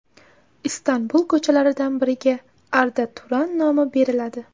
Istanbul ko‘chalaridan biriga Arda Turan nomi beriladi.